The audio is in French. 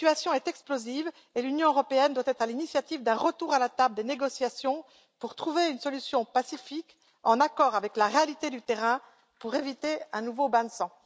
La situation est explosive et l'Union européenne doit être à l'initiative d'un retour à la table des négociations pour trouver une solution pacifique, en accord avec la réalité du terrain, afin d'éviter un nouveau bain de sang.